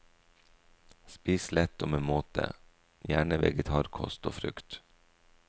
Spis lett og med måte, gjerne vegetarkost og frukt.